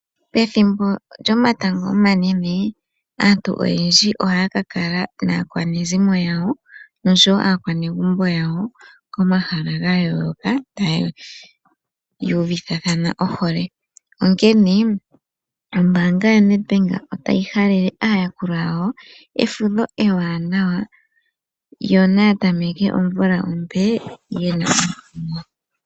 Pethimbo lyomatango omanene aantu oyendji ohaya ka kala naakwanezimo yawo nosho wo aakwanegumbo yawo komahala ga yooloka taya uvithathana ohole, onkene ombaanga yaNedbank otayi halele aayakulwa yawo efudho ewanawa. Yo naya tameke omvula ompe ye na omukumo.